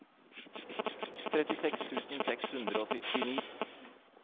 trettiseks tusen seks hundre og syttini